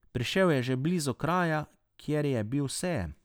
Prišel je že blizu kraja, kjer je bil sejem.